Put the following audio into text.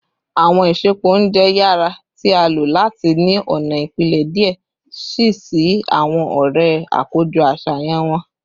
Awọn isẹpo ounjẹ yara ti a lo lati ni ọna ipilẹ diẹ sii si awọn ọrẹ akojọ aṣayan wọn